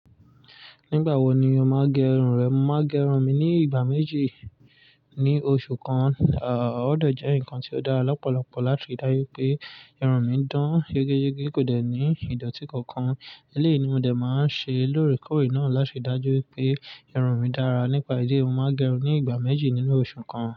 Nígbà wo ni o máa gẹ irun rẹ? Mo máa gẹ irun mi ní ìgbà méjì ní oṣù kan. À, ó dẹ̀ jẹ́ nǹkan tí ó dára lọ́pọ̀lọpọ̀ láti ri dájú pé irun mi dán yégeyege kò dẹ̀ ní ìdọ̀tí kankan. Eléyìí ni mo dẹ̀ máa ń ṣe lóòrèkóòrè náà láti ri dájú pé irun mi dára nípa ìdí eyi mo máa n gẹ irun ní ìgbà méjì nínú oṣù kan.